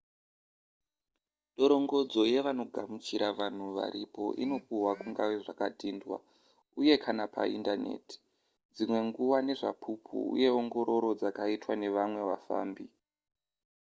dorongodzo yevanogamuchira vanhu varipo inopihwa kungave zvakadhindwa uye / kana paindaneti dzimwe nguva nezvapupu uye ongororo dzakaitwa nevamwe vafambi